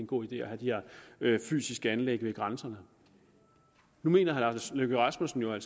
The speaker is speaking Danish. god idé at have de her fysiske anlæg ved grænserne nu mener herre lars løkke rasmussen jo at